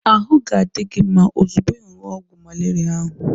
Ahụ ga-adi gị mma ozugbo ị ṅụrụ ọgwụ malaria ahu